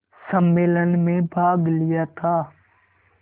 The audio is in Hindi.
सम्मेलन में भाग लिया था